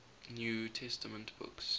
new testament books